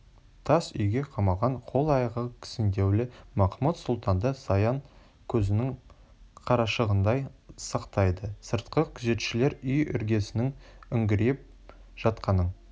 тас үйге қамалған қол-аяғы кісендеулі махмуд-сұлтанды саян көзінің қарашығындай сақтайды сыртқы күзетшілер үй іргесінің үңірейіп жатқанын